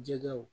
Jɛgɛw